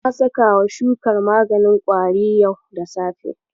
Na sakawa shukar maganin ƙwari yau da safe.